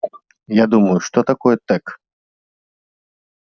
я думаю что такое тёк